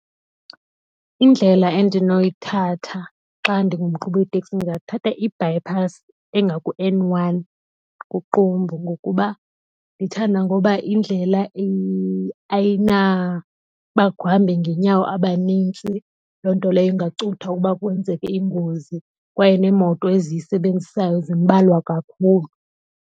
Indlela endinoyithatha xa ndingumqhubi weteksi ndingathatha ibypass engaku-N one kuQumbu ngokuba ndithanda ngokuba indlela ayinabahambi ngenyawo abanintsi. Loo nto leyo ingacutha ukuba kwenzeke iingozi kwaye neemoto eziyisebenzisayo zimbalwa kakhulu.